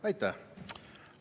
Aitäh!